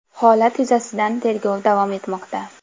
Holat yuzasidan tergov davom etmoqda.